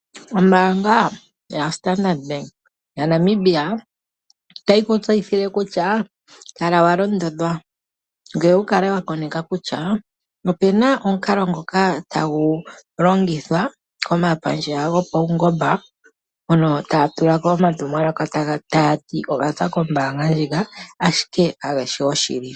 Ombaanga ya Standard ya Namibia otayi ku tseyithile kutya kala wa londondhwa ngoye wukale wa koneka kutya opena omukalo ngoka tagu longithwa komapandja go pawungomba ngono taga tulako omatumwalaka kombaanga ndjika ashike kageshi goshili.